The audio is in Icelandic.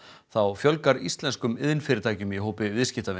þá fjölgar íslenskum iðnfyrirtækjum í hópi viðskiptavina